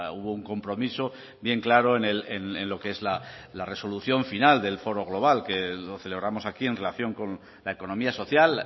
hubo un compromiso bien claro en lo que es la resolución final del foro global que lo celebramos aquí en relación con la economía social